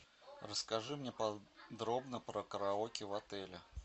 расскажи мне подробно про караоке в отеле